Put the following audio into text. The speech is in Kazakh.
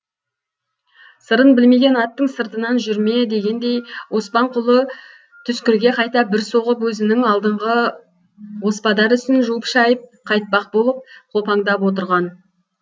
сырын білмеген аттың сыртынан жүрме дегендей оспанқұлы түскірге қайта бір соғып өзінің алдыңғы оспадар ісін жуып шайып қайтпақ болып қопаңдап отырған